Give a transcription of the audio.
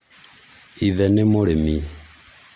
Ithe nĩ mũrĩmi